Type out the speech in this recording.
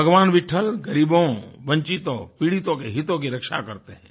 भगवान विट्ठल ग़रीबों वंचितों पीड़ितों के हितों की रक्षा करते हैं